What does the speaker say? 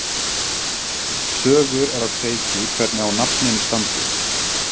Sögur eru á kreiki hvernig á nafninu standi.